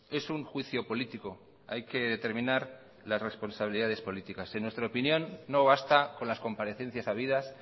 es un juicio político hay que determinar las responsabilidades políticas en nuestra opinión no basta con las comparecencias habidas